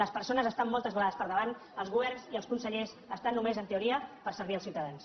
les persones estan moltes vegades per davant els governs i els consellers estan només en teoria per servir els ciutadans